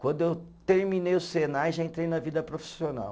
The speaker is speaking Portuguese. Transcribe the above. Quando eu terminei o Senai, já entrei na vida profissional.